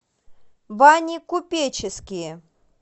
бани купеческие